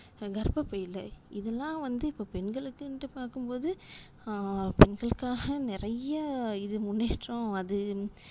கர்ப்பபைல இதுலாம் வந்து இப்போ பெண்களுக்குனுட்டு பாக்கும்போது ஆஹ் பெண்களுக்காக நிறைய இது முன்னேற்றம் அது